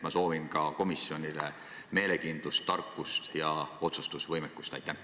Ma soovin komisjonile meelekindlust, tarkust ja otsustusvõimet!